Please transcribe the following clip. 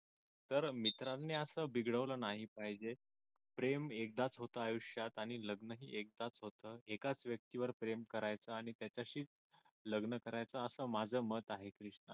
तर मित्रांनी असं बिघडवलं नाही पाहिजे प्रेम एकदाच होत आयुष्यात आणि लग्नही एकदाच होत एकाच व्यक्तीवर प्रेम करायचं आणि त्याच्याशीच लग्न करायचं असं माझं मत आहे